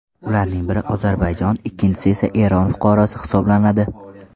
Ularning biri Ozarbayjon, ikkinchi esa Eron fuqarosi hisoblanadi.